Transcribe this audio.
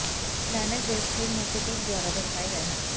plank ਦੇ ਸਥਿਰ ਨੂੰ ਪ੍ਰਤੀਕ ਦੁਆਰਾ ਦਰਸਾਏ ਗਏ ਹਨ